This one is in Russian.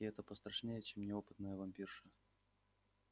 и это пострашнее чем неопытная вампирша